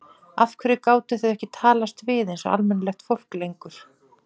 Af hverju gátu þau ekki talast við einsog almennilegt fólk lengur?